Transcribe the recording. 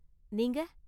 நீங்க?